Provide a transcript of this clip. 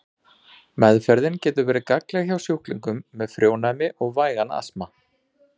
Meðferðin getur verið gagnleg hjá sjúklingum með frjónæmi og vægan astma.